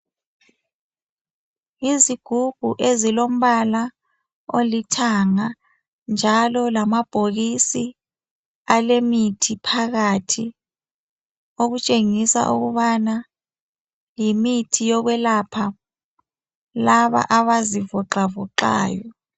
Izigubhu ezilombala olithanga njalo lamabhokisi alemithi phakathi okutshengisa ukubana yimithi yokwelapha laba abazivoxa voxayo .